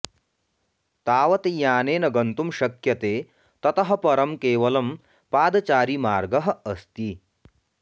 तावत् यानेन गन्तुं शक्यते ततः परं केवलं पादचारी मार्गः अस्ति